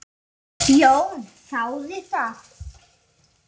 Jón þáði það.